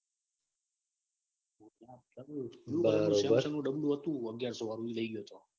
બરોબર ડબ્લ્યૂ હતું. અગિયારસો વાળું એ લઇ ગયા. તો